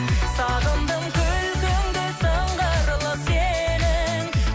сағындым күлкіңді сыңғырлы сенің